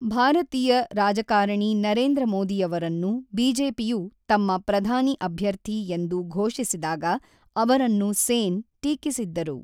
ಭಾರತೀಯ ರಾಜಕಾರಣಿ ನರೇಂದ್ರ ಮೋದಿಯವರನ್ನು ಬಿಜೆಪಿಯು ತಮ್ಮ ಪ್ರಧಾನಿ ಅಭ್ಯರ್ಥಿ ಎಂದು ಘೋಷಿಸಿದಾಗ ಅವರನ್ನು ಸೇನ್ ಟೀಕಿಸಿದ್ದರು.